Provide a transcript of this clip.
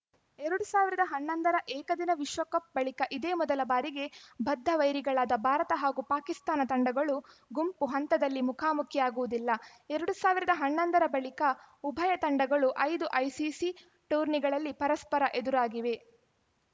ಎರಡ್ ಸಾವಿರದ ಹನ್ನೊಂದರ ಏಕದಿನ ವಿಶ್ವಕಪ್‌ ಬಳಿಕ ಇದೇ ಮೊದಲ ಬಾರಿಗೆ ಬದ್ಧವೈರಿಗಳಾದ ಭಾರತ ಹಾಗೂ ಪಾಕಿಸ್ತಾನ ತಂಡಗಳು ಗುಂಪು ಹಂತದಲ್ಲಿ ಮುಖಾಮುಖಿಯಾಗುವುದಿಲ್ಲ ಎರಡ್ ಸಾವಿರದ ಹನ್ನೊಂದರ ಬಳಿಕ ಉಭಯ ತಂಡಗಳು ಐದು ಐಸಿಸಿ ಟೂರ್ನಿಗಳಲ್ಲಿ ಪರಸ್ಪರ ಎದುರಾಗಿವೆ